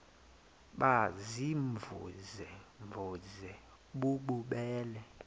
baziimvuze mvuze bububele